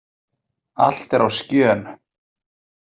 Allt er á skjön.